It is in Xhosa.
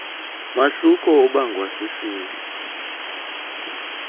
mahluko obangwa sisini